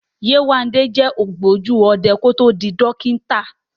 Yéwándé jẹ́ ògbójú ọ̀daràn kí ó tó di dókítà